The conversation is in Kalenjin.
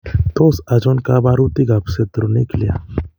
Tos achon kabarutik ab Centronuclear ?